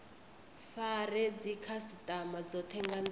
fare dzikhasitama dzothe nga ndila